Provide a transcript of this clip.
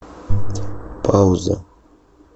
пауза